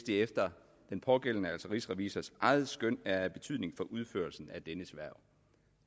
efter den pågældendes altså rigsrevisors eget skøn er af betydning for udførelsen af dennes hverv